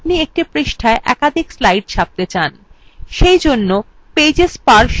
ধরুন আপনি একটি পৃষ্ঠায় একাধিক slides ছাপতে চান